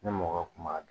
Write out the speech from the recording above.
Ne mɔgɔ kun b'a dun